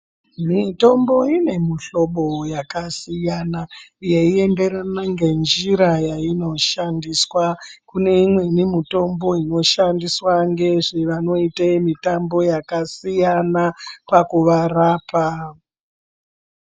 Mitombo ine mihlobo yakasiyana yeienderana ngenjira yainoshandiswa, kune imweni mitombo inoshandiswa ngezve vanoite mitambo yakasiyana pakuvarapa.